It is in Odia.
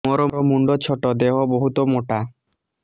ମୋର ମୁଣ୍ଡ ଛୋଟ ଦେହ ବହୁତ ମୋଟା